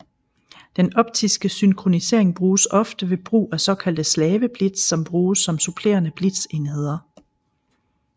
Den optiske synkronisering bruges ofte ved brug af såkaldte slaveblitz som bruges som supplerende blitzenheder